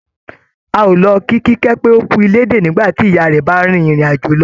A ó lọ kí Kíkẹ́ pé ókú ilédè nígbàtí ìyá rẹ̀ bá rìn ìrìn àjò lọ